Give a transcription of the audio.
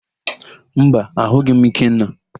Mba, ahụghị m Ikenna.